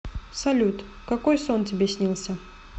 салют какой сон тебе снился